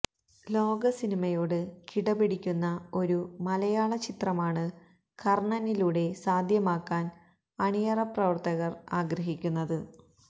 ലോകസിനിമയോട് കിടപിടിക്കുന്ന ഒരു മലയാള ചിത്രമാണ് കര്ണനിലൂടെ സാധ്യമാക്കാന് അണിയറപ്രവര്ത്തകര് ആഗ്രഹിക്കുന്നത്